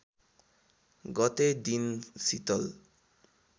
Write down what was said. गतेका दिन सितल